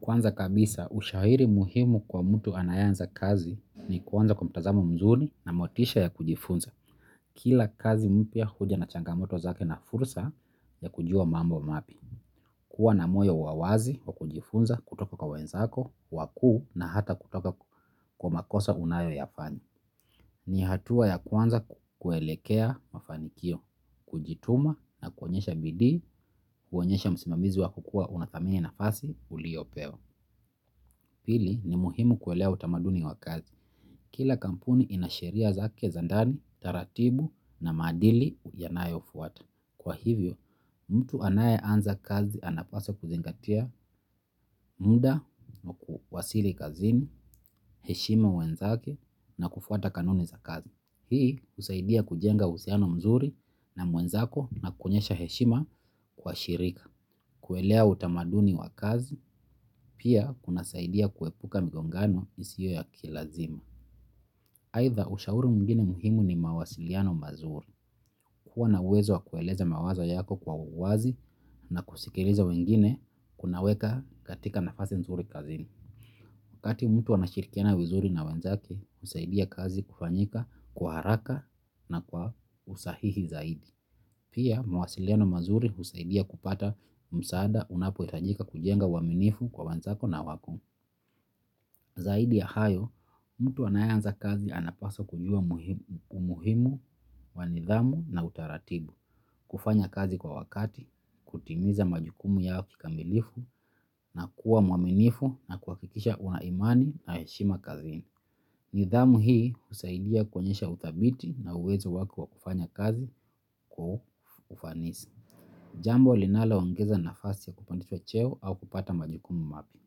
Kwanza kabisa, ushauri muhimu kwa mtu anayeanza kazi ni kuanza kwa mtazamo mzuri na motisha ya kujifunza. Kila kazi mpya huja na changamoto zake na fursa ya kujua mambo mapya. Kuwa na moyo wa wazi wa kujifunza kutoka kwa wenzako, wakuu na hata kutoka kwa makosa unayo yafanya. Ni hatua ya kwanza kuelekea mafanikio, kujituma na kuonyesha bidii, kuonyesha msimamizi wa kukua unathamini nafasi, uliyopewa. Pili ni muhimu kuelewa utamaduni wa kazi. Kila kampuni ina sheria zake za ndani, taratibu na maadili yanayo fuata. Kwa hivyo, mtu anaye anza kazi anapaswa kuzingatia muda na kuwasili kazini, heshima wenzake na kufuata kanuni za kazi. Hii husaidia kujenga uhusiano mzuri na mwenzako na kuonyesha heshima kwa shirika. Kuelewa utamaduni wa kazi, pia kuna saidia kuepuka migongano isiyo ya kilazima. Aidha ushauri mwingine muhimu ni mawasiliano mazuri. Kuwa na uwezo wa kueleza mawazo yako kwa uwazi na kusikiliza wengine kunaweka katika nafasi mzuri kazini. Wakati mtu anashirikiana vizuri na wenzake, husaidia kazi kufanyika kwa haraka na kwa usahihi zaidi. Pia, mawasiliano mazuri husaidia kupata msaada unapo hitajika kujenga uaminifu kwa wanzako na wako. Zaidi ya hayo, mtu anayeanza kazi anapaswa kujua umuhimu wa nidhamu na utaratibu, kufanya kazi kwa wakati, kutimiza majukumu yao kikamilifu na kuwa mwaminifu na kuhakikisha una imani na heshima kazini. Nidhamu hii husaidia kuonyesha udhabiti na uwezo wako wa kufanya kazi kwa ufanisi. Jambo linaloongeza nafasi ya kupandishwa cheo au kupata majukumu mapya.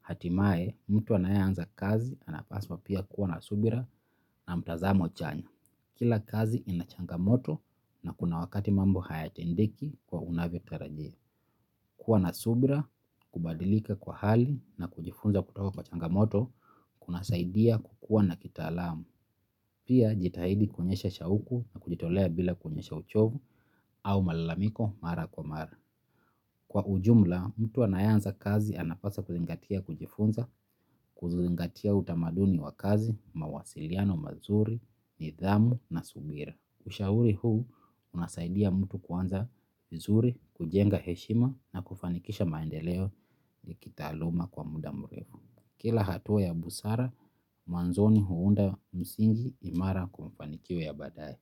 Hatimaye, mtu anayeanza kazi, anapaswa pia kuwa na subira na mtazamo chanya. Kila kazi ina changamoto na kuna wakati mambo hayatendeki kwa unavyo tarajia kuwa na subira kubadilika kwa hali na kujifunza kutoka kwa changamoto kunasaidia kukua na kitaalam. Pia jitahidi kuonyesha shauku na kujitolea bila kuonyesha uchovu au malalamiko mara kwa mara. Kwa ujumla, mtu anaeanza kazi anapaswa kuzingatia kujifunza, kuzingatia utamaduni wa kazi, mawasiliano mazuri, nidhamu na subira. Ushauri huu, unasaidia mtu kuanza vizuri, kujenga heshima na kufanikisha maendeleo ya kitaaluma kwa muda mrefu. Kila hatua ya busara, mwanzoni huunda msingi imara kwa mafanikio ya baadae.